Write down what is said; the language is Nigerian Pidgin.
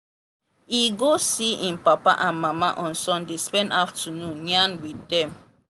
e go see im papa and mama on sunday spend afternoon yarn with dem.